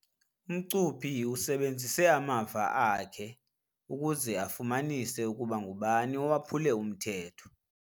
Umcuphi usebenzise amava akhe ukuze afumanise ukuba ngubani owaphule umthetho.